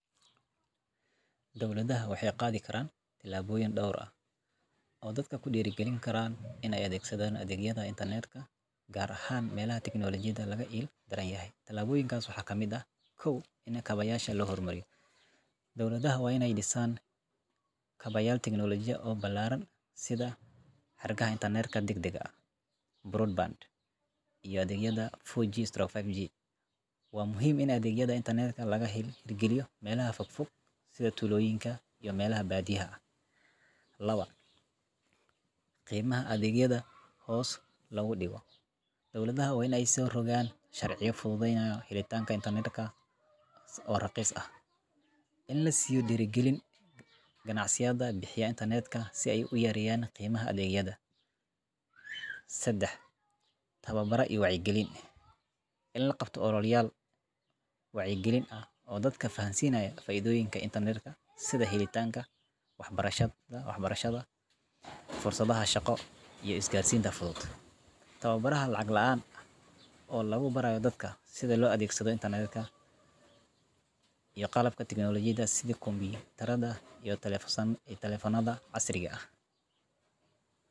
Dowladuhu waxay qaadi karaan tallaabooyin dhowr ah oo dadka ku dhiirrigelin kara in ay adeegsadaan adeegyada Internet-ka, gaar ahaan meelaha tiknoolojiyada laga il daran yahay. Tallaabooyinkaas waxaa ka mid ah: In Kaabayaasha Loo Horumariyo Dowladuhu waa in ay dhisaan kaabayaal tiknooloji oo ballaaran sida xargaha Internet-ka degdegga ah broadband iyo adeegyada 4Gamah5G. Waxaa muhiim ah in adeegyada Internet-ka laga hirgeliyo meelaha fogfog sida tuulooyinka iyo meelaha baadiyaha ah. .Qiimaha Adeegyada Hoos Loogu Dhigo Dowladuhu waa in ay soo rogaan sharciyo fududeeya helitaanka Internet-ka oo raqiis ah. In la siiyo dhiirrigelin ganacsiyada bixiya Internet-ka si ay u yareeyaan qiimaha adeegyada. .Tababaro iyo Wacyigelin In la qabto ololayaal wacyigelin ah oo dadka fahansiinaya faa'iidooyinka Internet-ka, sida helitaanka waxbarashada, fursadaha shaqo, iyo isgaarsiinta fudud. Tababaro lacag la’aan ah oo lagu barayo dadka sida loo adeegsado adeegyada Internet-ka iyo qalabka tiknoolojiyada sida kombiyuutarada iyo taleefannada casriga ah.